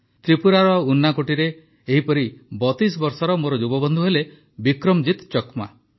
ତ୍ରିପୁରାର ଉନାକୋଟିରେ ଏହିପରି ୩୨ ବର୍ଷର ମୋର ଯୁବ ବନ୍ଧୁ ହେଲେ ବିକ୍ରମଜିତ ଚକମା